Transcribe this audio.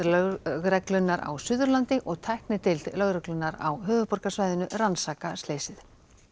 lögreglunnar á Suðurlandi og tæknideild lögreglunnar á höfuðborgarsvæðinu rannsaka slysið